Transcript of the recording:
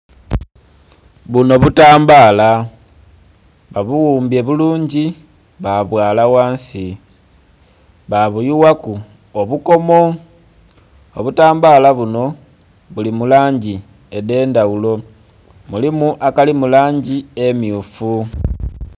Buno butambaala, babuwumbye bulungi, babwaala ghansi, babuyughaku obukomo. Obutambaala buno buli mu langi edh'endhaghulo. Mulimu akali mu langi emmyufu.